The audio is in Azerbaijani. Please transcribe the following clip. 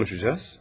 Nə konuşacağız?